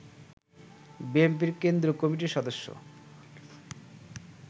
বিএনপির কেন্দ্রীয় কমিটির সদস্য